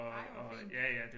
Ej hvor fint